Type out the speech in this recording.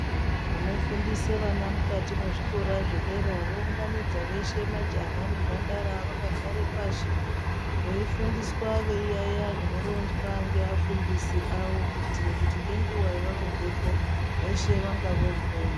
Vanofundisa vana kuzvikora zvedera vounganidza veshe majaha nembandara vakagara pashi veifundiswa kuyaiya zvinoronzwa nevafundisi vavo kuitira kuti ngenguwa yavanobvapo nevafundi veshe vanenge vokona.